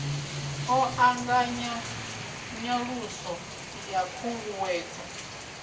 ḓo ṱanganya nyaluso ya khunguwedzo